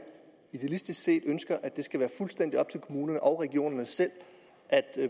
idealistisk set ønsker at det skal være fuldstændig op til kommunerne og regionerne selv at